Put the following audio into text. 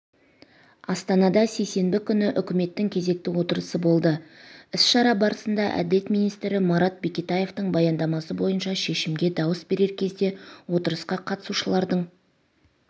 астанада сейсенбі күні үкіметтің кезекті отырысы болды іс-шара барысында әділет министрі марат бекетаевтың баяндамасы бойынша шешімге дауыс берер кезде отырысқа қатысушылардың